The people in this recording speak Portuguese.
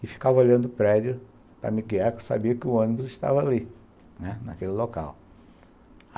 e ficava olhando o prédio para me guiar, porque eu sabia que o ônibus estava ali, né, naquele local.